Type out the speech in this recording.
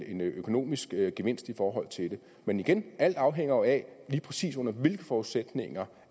en økonomisk gevinst i forhold til det men igen alt afhænger jo af lige præcis under hvilke forudsætninger